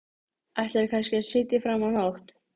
Ætlaðirðu kannski að sitja fram á nótt?